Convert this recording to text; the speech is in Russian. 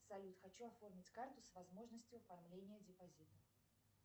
салют хочу оформить карту с возможностью оформления депозита